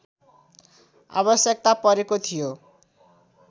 आवश्यकता परेको थियो